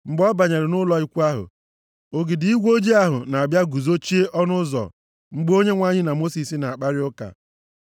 Mgbe ọ banyere nʼụlọ ikwu ahụ; ogidi igwe ojii ahụ na-abịa guzochie nʼọnụ ụzọ mgbe Onyenwe anyị na Mosis na-akparị ụka.